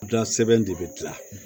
Da sɛbɛn de bɛ gilan